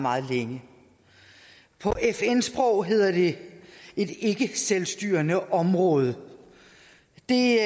meget længe på fn sprog hedder det et ikkeselvstyrende område det